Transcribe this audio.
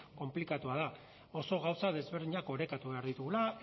konplikatua da oso gauza desberdinak orekatua behar ditugula